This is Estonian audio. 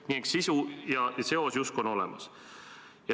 Nii et sisu ja seos justkui on olemas.